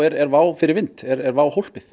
er WOW er WOW